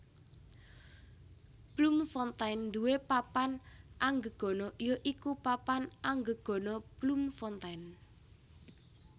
Bloemfontein nduwé papan anggegana ya iku Papan Anggegana Bloemfontein